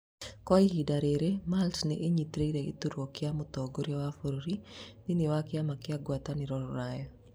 Kwa ihinda rĩrĩ Malta nĩnyitĩrĩire gĩturwa kĩa mũtongoria wa bũrũri thĩini wa kĩama kĩa ngwatanĩro Rũraya